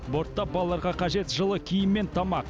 бортта балаларға қажет жылы киім мен тамақ